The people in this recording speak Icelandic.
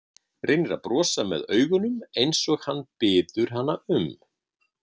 Reynir að brosa með augunum eins og hann biður hana um.